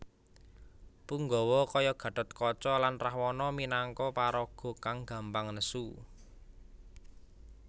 Punggawa kaya Gatotkaca lan Rahwana minangka paraga kang gampang nesu